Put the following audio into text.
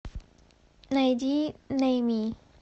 найди нэйми